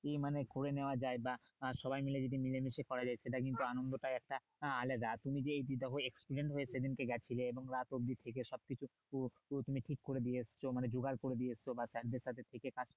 কি মানে করে নেওয়া যাই বা সবাই মিলে যদি মিলে মিশে করা যাই সেটা কিন্তু আনন্দটাই একটা আহ আলাদা তুমি যেই যতো experience হয়ে সে দিনকে গিয়েছিলে বা তুমি সব কিছু মানে ঠিক করে দিয়ে এসেছো মানে যোগাড় করে দিয়ে এসেছো বা sir দের সাথে থেকে কাজ